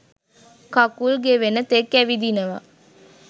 කකුල් ගෙවෙන තෙක් ඇවිදිනවා.